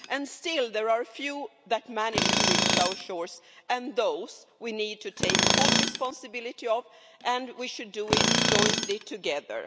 And still there are a few that manage to reach our shores and we need to take full responsibility for them and we should do it jointly together.